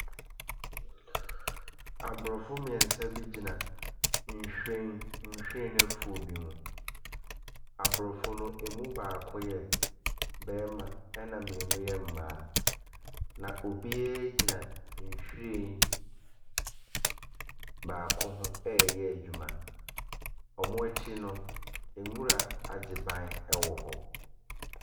Aborɔfo mmeɛnsa bi gyina nhwiren, nhwiren afuo bi mu. Aborɔfo no mu baako yɛ barima ɛna mmienu yɛ mmaa, na ebiara gyina nhwiren baako ho reyɛ adwuma. Wɔn akyi no, nwura agye ban wɔ hɔ.